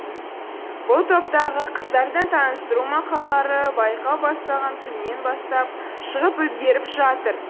бұл топтағы қыздардың таныстыру мақалалары байқау басталған күннен бастап шығып үлгеріп жатыр